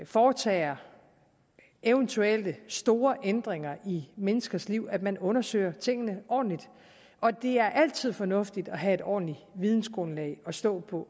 foretager eventuelle store ændringer i menneskers liv at man undersøger tingene ordentligt og det er altid fornuftigt at have et ordentligt vidensgrundlag at stå på